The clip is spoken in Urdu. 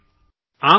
آئیے اسے ہونے دیں